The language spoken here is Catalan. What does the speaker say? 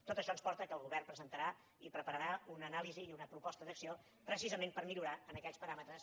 tot això ens porta que el govern presentarà i prepararà una anàlisi i una proposta d’acció precisament per millorar en aquells paràmetres